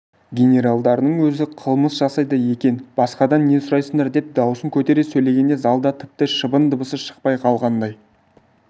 генералдарыңның өзі қылмыс жасайды екен басқадан не сұрайсыңдар деп даусын көтере сөйлегенде залда тіпті шыбын дыбысы шықпай қалғандай